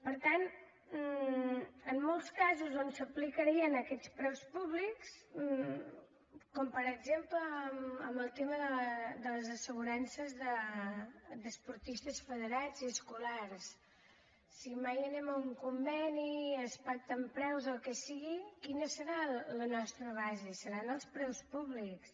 per tant en molts casos on s’aplicarien aquests preus públics com per exemple en el tema de les assegurances d’esportistes federats i escolars si mai anem a un conveni i es pacten preus o el que sigui quina serà la nostra base seran els preus públics